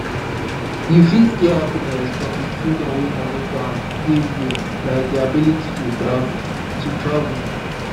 you fit get happiness from di freedom wey money can give you like di ability to travel. to travel.